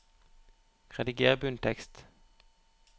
Rediger bunntekst